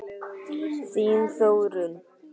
Þín Þórunn.